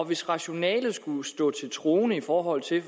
hvis rationalet skulle stå til troende i forhold til